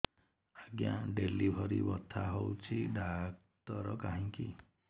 ଆଜ୍ଞା ଡେଲିଭରି ବଥା ହଉଚି ଡାକ୍ତର କାହିଁ କି